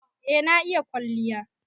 Eh, na iƴa ƙwalliya.